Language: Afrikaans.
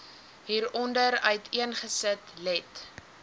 hieronder uiteengesit let